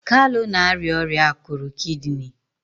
kalu na-arịa ọrịa akụrụ kidini